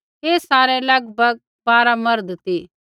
ऐ सारै लगभग बारा मर्द ती